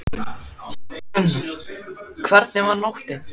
Gunnar: Hvernig var nóttin?